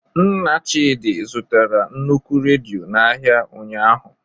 Nna Chidi zụtara nnukwu redio n'ahịa ụnyahụ.